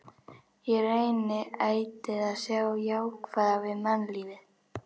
Ég reyni ætíð að sjá það jákvæða við mannlífið.